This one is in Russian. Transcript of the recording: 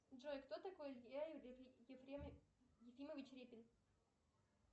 джой кто такой илья ефремович репин